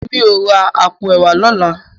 Mi ó rá àpó èwá lòlá